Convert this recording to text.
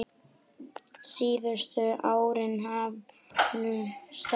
Síðustu árin í hálfu starfi.